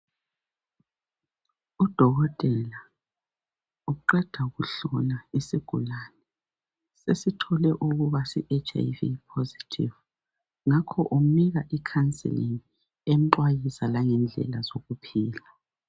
Udokotela uqeda ukuhlola isigulane, esithole ukuba si HIV phosethivu. Ngakho umnika ikhanselingi, emxwayisa langendlela zokuphila.